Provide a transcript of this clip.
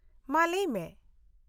- ᱢᱟ ᱞᱟᱹᱭᱢᱮ ᱾